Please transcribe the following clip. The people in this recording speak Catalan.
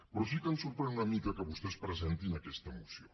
però sí que ens sorprèn una mica que vostès presentin aquesta moció